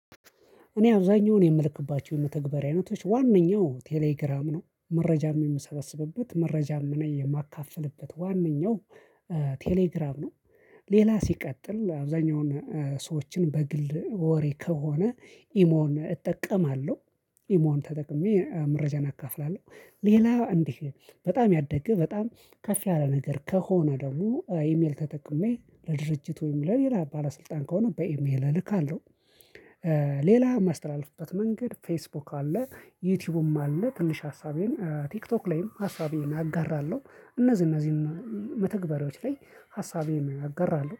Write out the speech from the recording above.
እኔ አብዛኛውን የምልክባቸው የተግባር አይነቶች ዋናው ቴሌግራም ነው መረጃም የምሰበስብበት መረጃም እኔ የማካፍልበት ዋነኛው ቴሌግራም ነው ሌላ ሲቀጥል አብዛኛውን ሰዎችን በግል ወሬ ከሆነ ኢሞን እጠቀማለሁ፤ ኢሞን ተጠቅሜ መረጃን አካፍላለሁ ሌላ እንዲህ በጣም ያደግህ በጣም ከፍ ያለ ነገር ከሆነ ደግሞ ኢሜል ተጠቅሜ ለድርጅቱም ለሌላ ባለስልጣን ከሆነ በኢሜል እልካለሁ። ሌላ ማስተላለፍበት መንገድ ፌስቡክ አለ፣ ዩቲዩብም አለ፣ ትንሽ ሀሳቤን ቲክቶክ ላይም ሀሳቤን አጋራለሁ እነዚህ እነዚህን መተግበሪያዎች ላይ ሀሳቤን አጋራለሁ።